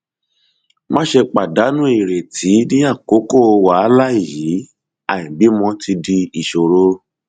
máṣe pàdánù ìrètí ní àkókò wàhálà yìí àìbímọ ti di ìṣòro